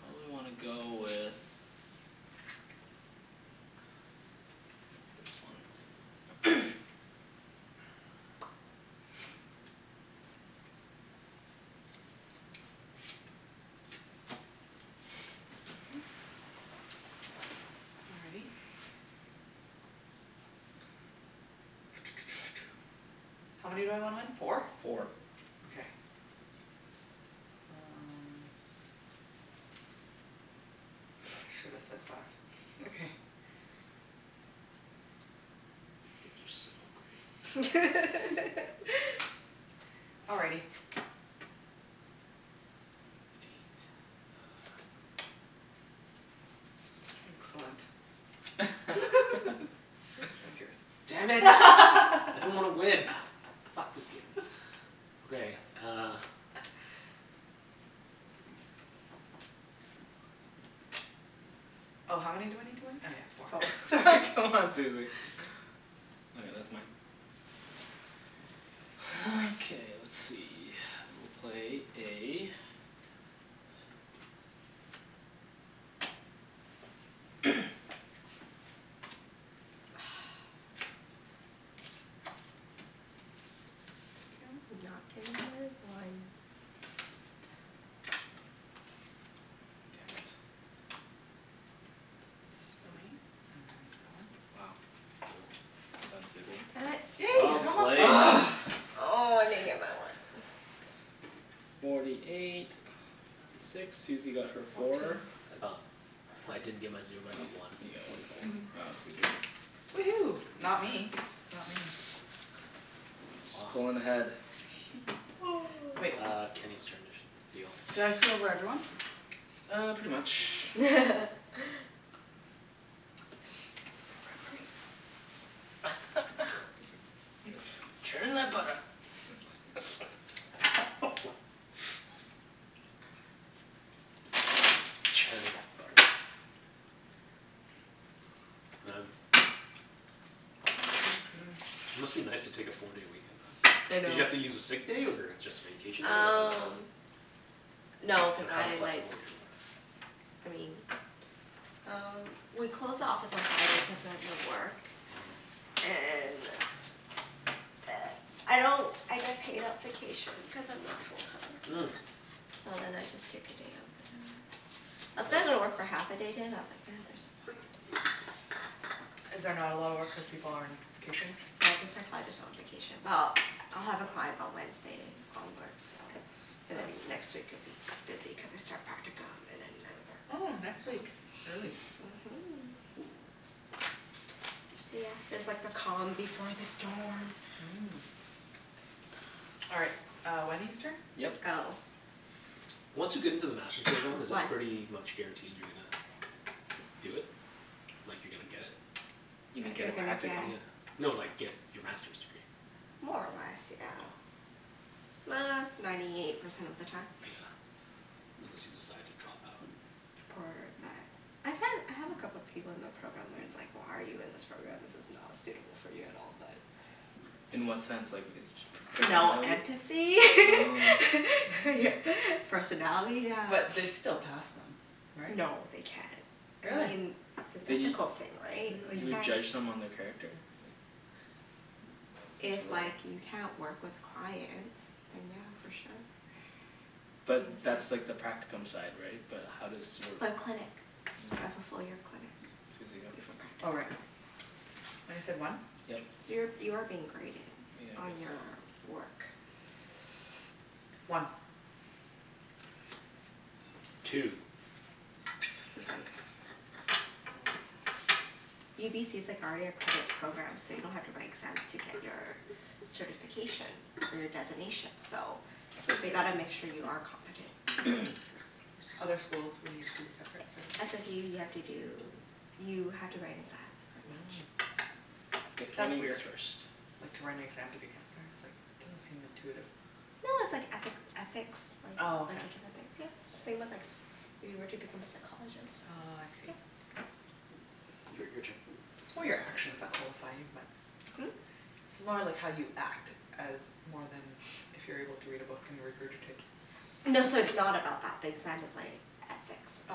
probably wanna go with this one. Alrighty. How many do I want? Four? Four. Okay. Um, should've said five You think you're so great. Alrighty. Excellent Damn it. I didn't wanna win. Ah, f- fuck this game. Okay, uh Oh how many do I need to win? Oh yeah four, sorry C'mon, Susie. All right, that's mine. Okay let's see, I will play a Did not get my one. Damn it. Wow, well done Susie. Damn it. Yay! Well played. Ugh! Oh, I didn't get my one. Forty eight, fifty six, Susie got her four. I got, I didn't get my zero but I got one. You get one Fourty four. point. Wow Susie. Woohoo, not me. It's not me. She's pullin' ahead. Uh Kenny's turn to sh- Did deal. I screw over everyone? Uh, pretty much. Churn that butter. Churn that butter. Man, it must be nice to take a four day weekend off. I Did know you have to use a sick day or just vacation day or Um, no cuz I like, I mean uh we close the office at seven cuz I was at work and I don't I get paid at vacation cuz I'm not full time. Mm. So then I just take a day off whatever. I was gonna go to work for half a day today but I was like nah, there's no point. Is there not a lot of work when people are on vacation? They have the psychologist on vacation. Well, I'll have a client on Wednesday onward so and then next week it would be busy cuz I start practicum and then I Oh, work. next week. Early. Mhm. Yeah, this is like the calm before the storm. Mm. All right, uh Wenny's turn? Yep. Oh. Once you get into the Master's program, is it One pretty much guaranteed you're gonna do it? Like you're gonna get it? You mean get You're a gonna get practicum? Yeah, no like, get your Masters degree. More or less, yeah. Uh, ninety eight percent of the time. Yeah, unless you decide to drop out. Or that, I find, I have a couple of people in the program where it's like, why are you in this program this is not suitable for you at all but In what sense like, is per- No personality? empathy Oh. Personality yeah. But they'd still pass them right? No, they can't. I Really? mean, it's an But you, ethical thing, right, like you you would can't. judge someone their character? Like If like, you can't work with clients then yeah, for sure But that's like the practicum side, right? But how does your For clinic. Mm. Right, fullfil your clinic before Susie, go. Oh right. practicum What is it, one? So you're, Yep. you are being graded Yeah I On your guess so work One Two Cuz like UBC's like already accredited program so you don't have to write exams to get your certification for your designation so I'd say They zero gotta make sure you are competent Other schools would need to, separate certificate? SFU you have to do, you have to write an exam pretty Mm much. K, That's lemme guess weird, first like to write an exam to be counselor, it's like doesn't seem intuitive. No, it's like ethic, ethics like, a bunch of different things. Yeah, it's same with like, if you were to become a psychologist. Oh I see Yep. Your your turn It's more your actions that qualify you but Hm? It's more like how you act as more than if you're able to read a book and regurgitate. No, so it's not about that, the exam is like Oh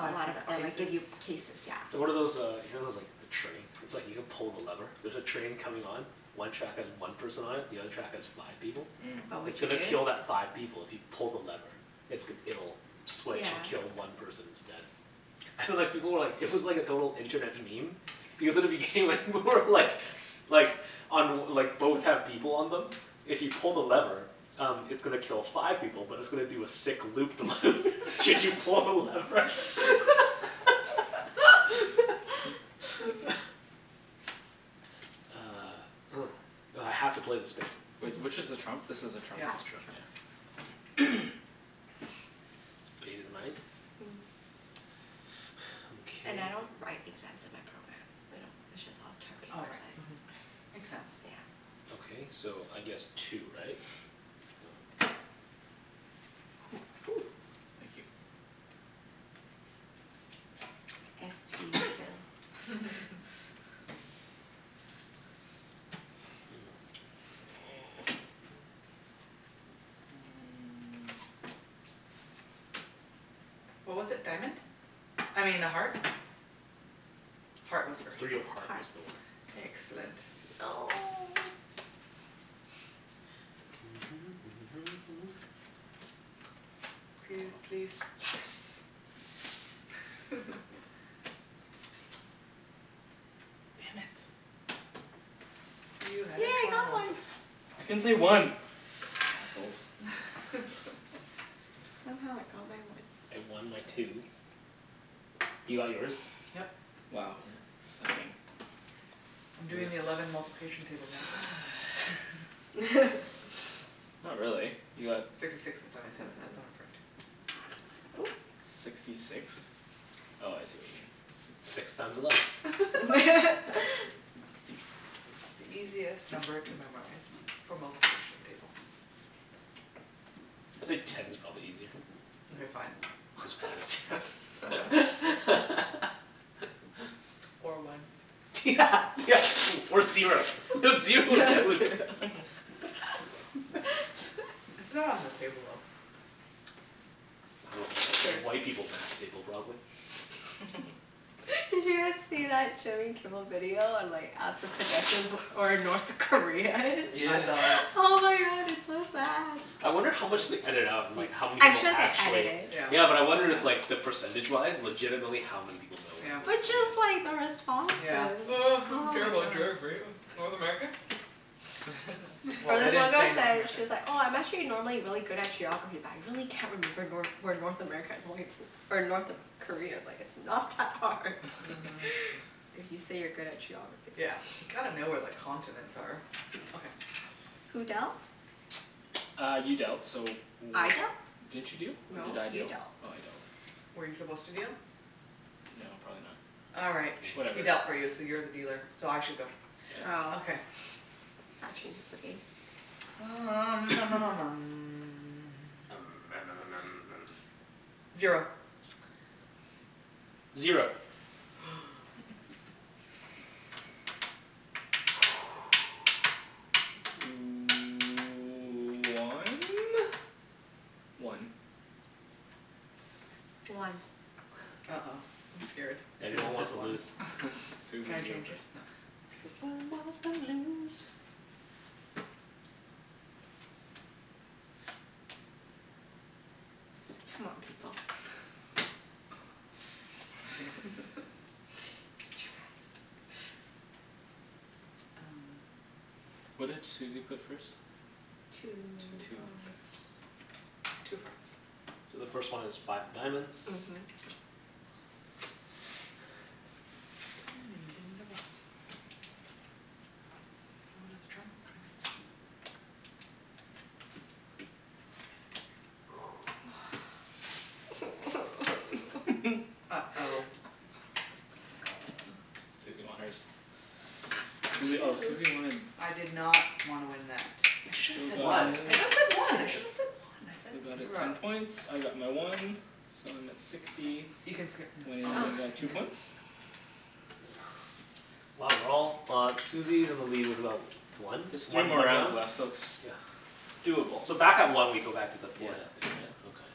I see, Or like, cases give you cases, yeah. So what are those uh you know those like the train? It's like you can pull the lever, there's a train coming on, one track has one person on it, the other track has five people. What It's would you gonna Mm do? kill that five people if you pull the lever. It's g- it'll switch Yeah. and kill one person instead. And like people were like it was like a total internet meme because at the beginning like, more like, like on like both have people on them, if you pull the lever, um it's gonna kill five people but it's gonna do a sick loop the loop should you pull the lever. Uh, oh. I have to play the spade. Wait, which is the trump? This is the That's the trump trump Mm, and I don't write exams in my program. We don't, it's just all term paper. It's like So Makes sense yeah. Ok so, I guess two, right? Woo! Thank you. Iffy Phil What was it, diamond? I mean, a heart? Heart was first. Three of heart was Heart the one. Excellent No! P- please, Yes! Damn it. You Yes, had yay a I got trump. one! I can't say one! Assholes Somehow I got my one. I won my two. You got yours? Yep. Wow, sucking. I'm doing the eleven multiplication table guys Not really. You got Sixty six and seventy seven, that's Oop! Sixty six? Oh I see what you mean. Six times eleven. The easiest number to memorize for multiplication table It's like ten's probably easier. Mkay fine. Just add a zero. Or one. Yeah yeah, or or zero. Zero would It's not on the table, though. Well, white people's math table probably. Did you guys see that Jimmy Kimmel video on like ask the pedestrians where or North Korea is? Yeah. I saw that Oh my god, it's so sad. I wonder how much they ediited out and like how many I'm people sure they edit it. actually Yeah, but I wonder it's like, the percentage wise legitimately how many people know where But North just Korea like the is? responses. Oh I don't Oh care my about god geography, North America? Or this one girl said she's like, "Oh I'm actually normally really good at geography but I really can't remember Nor- where North America is or it's, North Korea is." Like it's not that hard If you say you're good at geography Yeah. You gotta know where the continents are. Okay. Who dealt? Uh, you dealt so I dealt? w- Didn't you deal? Or did No, I you deal dealt Oh I dealt. Were you supposed to deal? No probably not. Alright He Whatever dealt for you so you're the dealer, so I should go. Oh Okay. That changes the game. Um Zero Zero One? One One Uh oh, I'm scared. Everyone wants to lose. Susie, you go first. C'mon, people What did Susie put first? Two Two, okay. Two hearts So the first one is five of diamonds. Mhm. Uh oh Susie won hers. Susie oh Susie wanted I did not wanna win that. Should've Phil said got one, I his should've said one, I should've said one, I said- Phil got his screwed ten up points, I got my one, so I'm at sixty, Wenny got two points Wow, we're all, uh Susie's in the lead with about one, There's three one more more rounds round? left so it's Yeah Doable So back at one we go back to the forehead thing, Yeah right? Okay.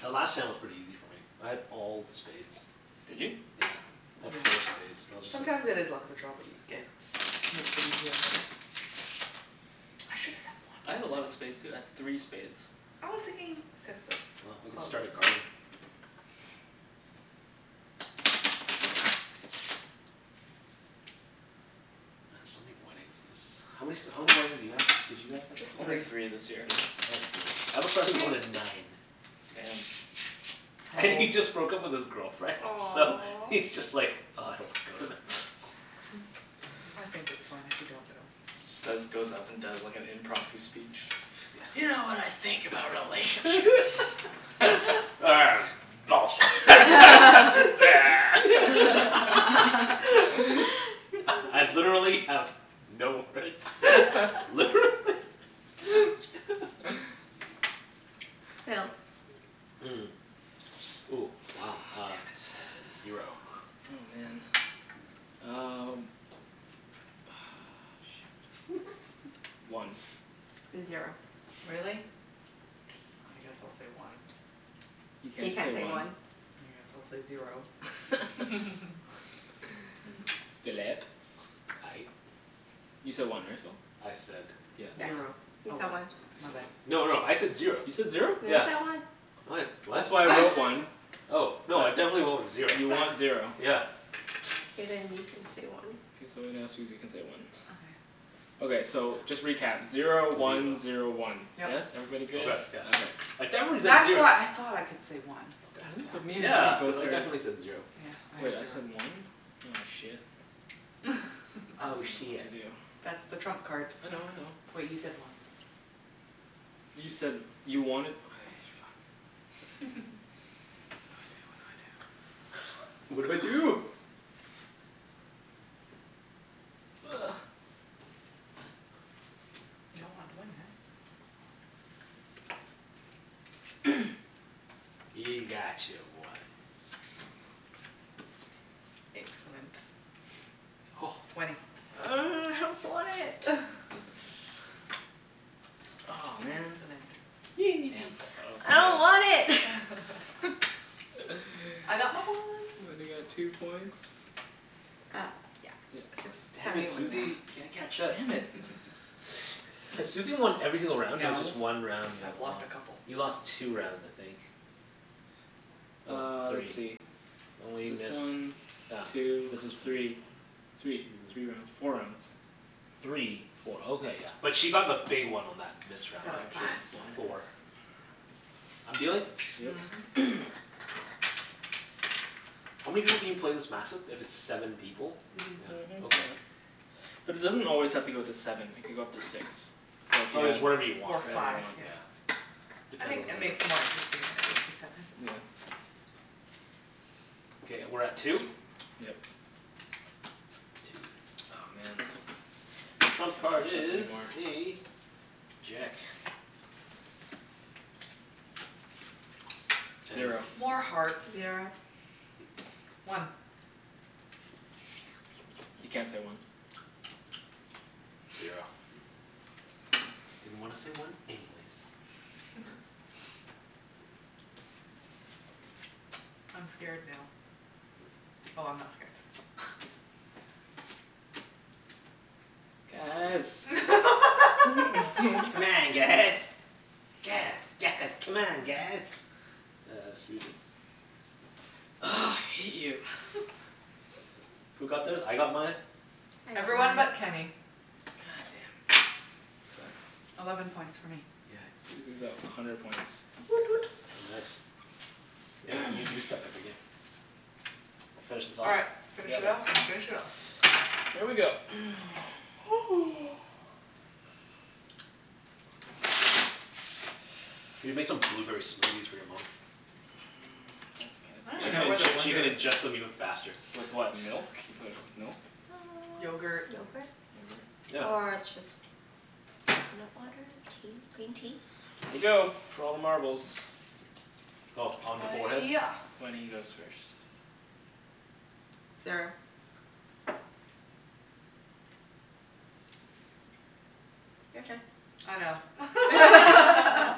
The last time was pretty easy for me, I had all spades. Did you? Yeah. I had four spades so I was just Sometimes it like is the luck of the draw, what you get. I should've said I had a lot one. of spades too. I had three spades I was thinking six Well, we of can clubs. start a garden. Man, so many weddings this, how many s- how many weddings did you have, did you guys have to Only three this year I had three. I have a friend who went to nine. Damn And he just broke up with his girlfriend so Aw he's just like, ugh, I don't want to go to them. I think it's fine if you don't go. Instead he just goes up and does like a impromptu speech. You know what I think about relationships Bullshit I, I've literally have no words, literally Phil Mm, ooh wow uh Oh, damn it Zero Oh man, um, ugh shit. One Zero Really? I guess I'll say one You You can't can't say say one. one. I guess I'll say zero Phillip? Aye You said one right, Phil? I said Yep Zero. He Oh said one one He said No, one no, I said zero. You said zero? No, you Yeah. said one. No I d- what? That's why I wrote one Oh no, I definitely went with zero. You want zero. Yeah. Okay, then you can say one. K, so now Susie can say one Okay so just recap, zero one zero one. Yes? Everybody good? Right, yeah. Okay. I Ooh, definitely said that's zer- why I thought I could say one, that's Really? why. But me and Yeah. Wenny Cuz both I heard definitely said zero. Wait I said one? Oh shit. I Oh shiet. dunno what That's to do. the trump card. I know I know. Wait you said one You said you wanted, okay, fuck. What do I do. What do I do, what do I do. What do I do. Ugh You don't want to win eh? You got your one. Excellent. Wenny. Ugh, I don't want it! Aw man! Excellent I don't want it! I got my one. Wenny got two points. Uh yeah. Six, Damn seventy it, one, yeah. Susie, can't catch up. Damn it Has Susie won every single round or No just one round you have I've won. lost a couple You lost two rounds, I think. No, Uh, let's three. see. This one, two, three. Three, three rounds. Four rounds. Three, four, oh okay yeah. But she got the big one on that missed round though. Five She got points, yeah. four. I'm dealing? Yep Mhm How many people can you play this match with if it's seven people? Mhm. Yeah, okay. But it doesn't always have to go to seven. It could go up to six. Oh it's whatever you want, Or Whatever you five right? want yeah. I think that makes it more interesting Yeah Okay, we're at two? Yep. Aw man, Trump can't card catch up is anymore a jack. Zero More hearts Zero One You can't say one. Zero Didn't wanna say one anyways. I'm scared now. Oh I'm not scared. Guys C'mon guys, guys, guys, c'mon, guys! Uh Susie Ugh, I hate you Who got theirs? I got mine. I got Everyone mine. but Kenny. God damn. Sucks Eleven points for me Yeah Susie's at a hundred points. Woot woot Oh nice. Yeah, you do suck at the game. Finish this All off? right, finish Yep it off and finish it off. Here we go You can make some blueberry smoothies for your mom. She can inge- she can ingest them even faster. With what, milk? You put, with milk? Yogurt Yogurt Yogurt? Yeah. Or just coconut water, tea, green tea. Here we go, for all the marbles Oh, on the forehead? Yeah Wenny goes first. Zero. Your turn I know.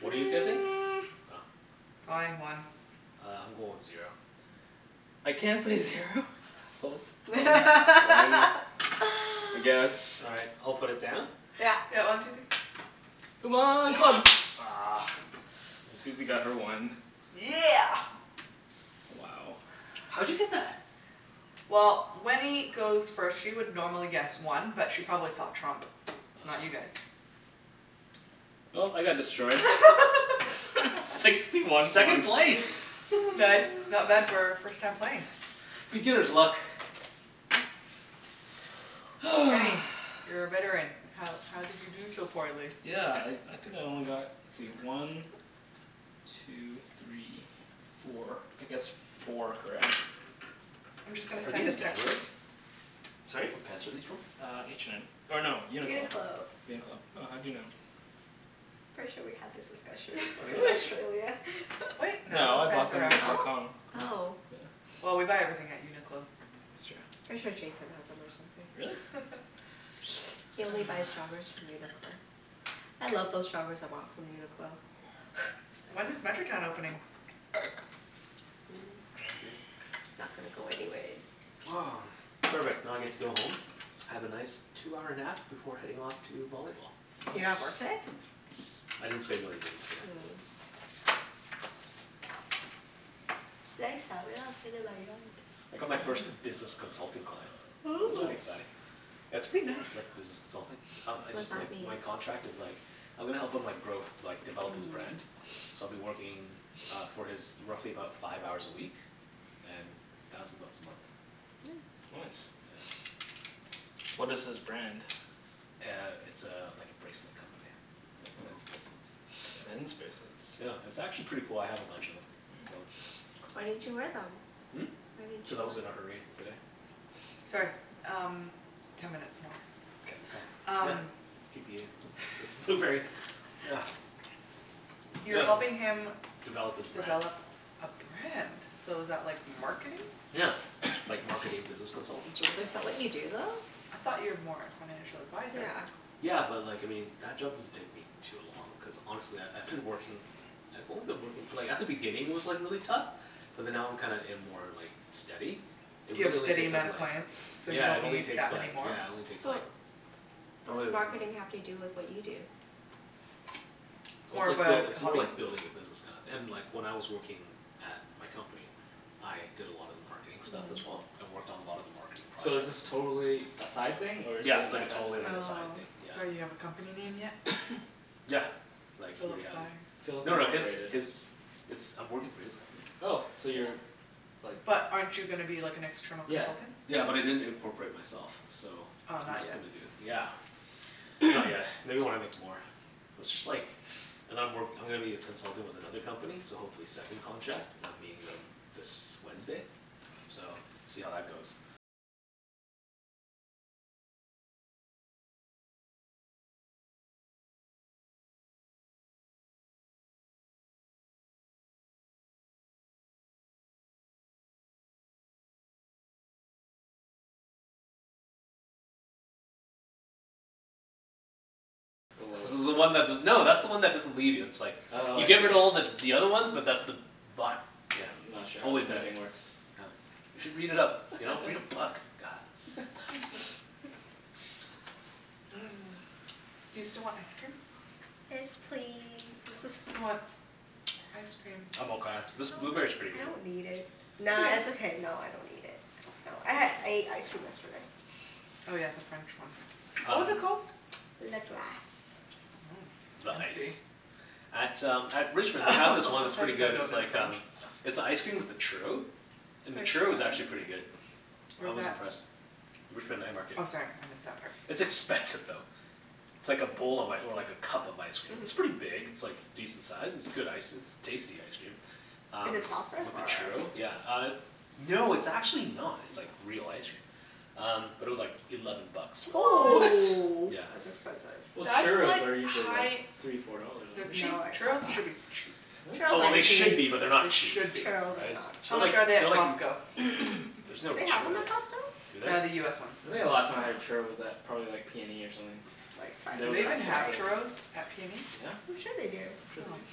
What are you guessing? Fine, one Uh I'm going with zero. I can't say zero? You assholes One. One? I guess. All right, I'll put it down. Yeah Yeah, one two three C'mon, clubs! Ugh, Susie got her one. Yeah! Wow How'd you get that? Well, Wenny goes first. She would normally guess one but she probably saw trump so not you guys. Well, I got destroyed. Sixty one Second one place! Nice, not bad for first time playing Beginner's luck. Kenny, you're a veteran, how how did you do so poorly? Yeah, I I think I only got, let's see, one two three four, I guessed four correct. I'm just gonna Are send these? a text. Sorry? What pants are these from? Uh H&M, or no, UNIQLO UNIQLO UNIQLO. Oh, how'd you know? Pretty sure we had this discussion before in Really? Australia. Wait No, I bought them in Hong Kong. Oh? Oh. Yeah Well, we buy everything at UNIQLO. That's true. Pretty sure Jason has'em or something Really? He only buys joggers from UNIQLO. I love those joggers I bought from UNIQLO. When is Metrotown opening? Not gonna go anyways. Perfect, now I get to go home, have a nice two-hour nap before heading off to volleyball. You don't have work Nice today? I didn't schedule anything in today. Mm It's nice out. Maybe I'll sit in my yard. I got my first business consultant client. That's Ooh. pretty exciting. Nice That's pretty nice like business consulting. Um I What does just like, that mean? my contract is like, I'm gonna help him like, grow, like develop his brand, so I'll be working uh for his, roughly about five hours a week and thousand bucks a month. Yeah. Nice. What is his brand? Uh it's a, like a bracelet company, like men's bracelets. Men's bracelets Yeah. It's actually pretty cool. I have a bunch of'em so. Why didn't you wear them? Hmm? Why didn't you Cuz I was in wear a hurry today. them? Sorry, um ten minutes more. Okay Yep, Um let's keep eating this blueberry, yeah. You're helping him Develop his brand Develop a brand? So is that like marketing? Yeah, like marketing business consultant sort of thing? Is that what you do I though? thought you are more like financial advisor. Yeah. Yeah, but like, I mean that job doesn't take me too long cuz honestly I I I've been working, I've only been working like at the beginning it was like really tough, but then now I'm kinda in more like steady It You have really only steady takes up amount of like, clients? So you yeah it don't only need that takes many like, more? yeah it only takes like But what probably does marketing have to do with what you do? Well, it's like buil- it's more like building a business kinda and like when I was working at my company, I did a lot of marketing stuff as well, I worked on a lot of the marketing So is projects. this totally a side thing or is it Yeah, it's an like a FS totally, thing? like a side thing, Oh. yeah. So you have a company name yet? Yeah, like he already has it. Philip No no, his, Incorporated. his, it's, I'm working for his company. Oh, so you're like But aren't you gonna be like an external Yeah consultant? Yeah, but I didn't incorporate myself, so Oh I'm not just yet gonna do, yeah. Not yet. Maybe when I make more. But it's just like and I'm work, I'm gonna be a consultant with another company so hopefully second contract, and I'm meeting them this Wednesday so, see how that goes. This is the one that's the, no, that's the one that doesn't leave you it's like Oh You I see. giver her to all the the other ones but that's the bottom, yeah, I'm not sure how always there. pimping works. Oh, you should read it up. You know, read a book, god. You still want ice cream? Yes, please Who wants ice cream? I'm I don't, okay. This blueberry's pretty I good. don't need it. Nah, it's It's okay. okay. No, I don't need it. No, I had, ate ice cream yesterday. Oh yeah the French one. What was it called? Le Glace The I ice see. At um at Richmond they have this one that's pretty good. It's like um, it's an icecream with a churro, and the churro was actually pretty good. I Where's was that? impressed. Richmond night market. Oh sorry, I missed that part. It's expensive though. It's like a bowl of like, or like a cup of ice cream, it's pretty big. It's like decent size. It's good ice, it's tasty ice cream, um Is it soft-serve with the or? churro, yeah, uh no, it's actually not. It's like real ice cream. Um, but it was like eleven bucks for What?! it. Whoa! Yeah That's expensive. Well, That's churros like are usually like high- three four dollars, They're aren't they? cheap. No they're not Churros should be cheap. that Oh well, they Really? should be but they're not They cheap. should be. Churros are not How cheap. They're like, much are they at they're like Costco? There's no Do they have'em churros at at, Costco? do Uh the US ones. they? I think the last time I had a churro was at probably like PNE or something. Do Those they were even have expensive. churros at PNE? I'm sure they do. I'm sure they do.